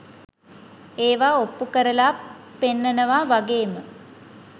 ඒවා ඔප්පු කරලා පෙන්නනවා වගේ ම